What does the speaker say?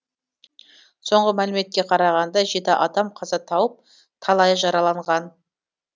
соңғы мәліметке қарағанда жеті адам қаза тауып талайы жараланған